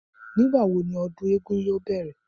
Nígbàwo ni ọdún eégún yóò bẹ̀rẹ̀?